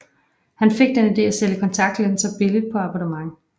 Han fik den idé at sælge kontaktlinser billigt på abonnement